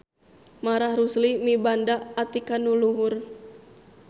Marah Rusli mibanda atikan nu luhur.